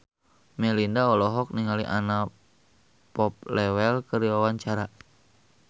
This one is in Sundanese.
Melinda olohok ningali Anna Popplewell keur diwawancara